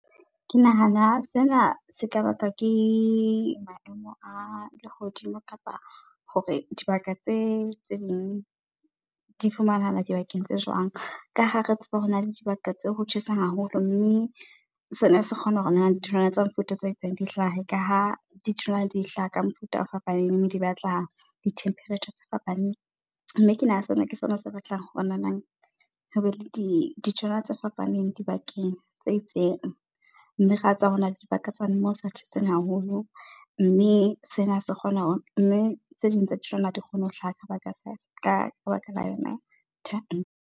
Ke nahana fela se ka bakwa ke maemo a lehodimo kapa hore dibaka tse ding di fumanahala dibakeng tse jwang. Ka ha re tseba hona le dibaka tse ho tjhesang haholo mme sena se kgona hore ditholwana tsa mofuta tse itseng di hlahe, ka ha ditholwana di hlaha ka mofuta o fapaneng mme di batla di-temperature tse fapaneng. Mme ke nahana sena ke sona se batlang o ho be le ditholwana tse fapaneng dibakeng tse itseng, mme tsa rona le dibaka moo sa tjheseng haholo mme sena se kgona ho, mme tse ding tsa ditholwana ha di kgone ho hlaha ka baka sa, ka baka yona .